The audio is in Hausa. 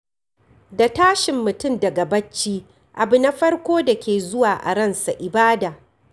Da tashin mutum daga bacci, abu na farko da ke zuwa a ransa ibada.